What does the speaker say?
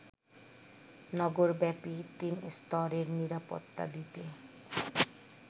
নগরব্যাপী তিনস্তরের নিরাপত্তা দিতে